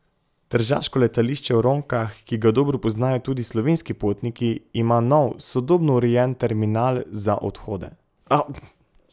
Tržaško letališče v Ronkah, ki ga dobro poznajo tudi slovenski potniki, ima nov, sodobno urejen terminal za odhode.